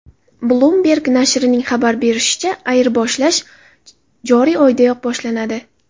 Bloomberg nashrining xabar berishicha, ayirboshlash joriy oydayoq boshlanadi.